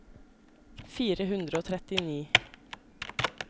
fire hundre og trettini